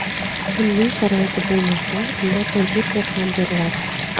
Kimning sharoiti bo‘lmasa, unga kompyuter ham beriladi.